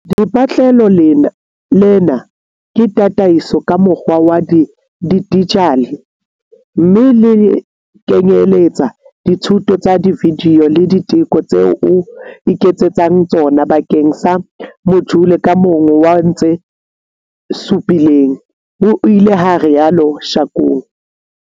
"Lepatlelo lena ke tataiso ka mokgwa wa dijithale mme le kenyeletsa dithuto tsa vidiyo le diteko tseo o iketsetsang tsona bakeng sa mojule ka mong wa tse supileng," ho ile ha rialo Shakung.